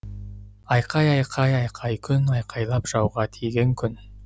айқай айқай айқай күн айқайлап жауға тиген күн